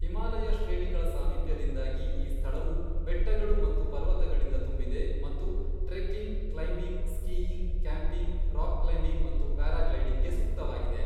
ಹಿಮಾಲಯ ಶ್ರೇಣಿಗಳ ಸಾಮೀಪ್ಯದಿಂದಾಗಿ, ಈ ಸ್ಥಳವು ಬೆಟ್ಟಗಳು ಮತ್ತು ಪರ್ವತಗಳಿಂದ ತುಂಬಿದೆ ಮತ್ತು trekking, climbing, skiing, camping, rock climbing ಮತ್ತು ಪ್ಯಾರಾಗ್ಲೈಡಿಂಗ್ಗೆ ಸೂಕ್ತವಾಗಿದೆ.